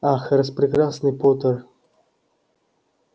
ах распрекрасный поттер